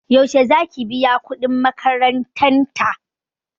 Yaushe zaki biya kuɗin makarantan ta?